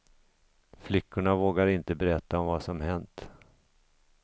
Flickorna vågar inte berätta om vad som hänt.